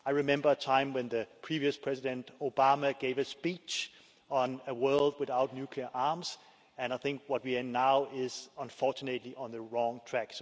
I remember a time when the previous president, President Obama, gave a speech on a world without nuclear arms and I think we are now, unfortunately, on the wrong track.